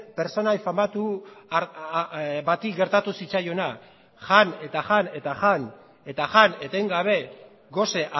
pertsonai famatu bati gertatu zitzaiona jan eta jan eta jan eta jan etengabe gose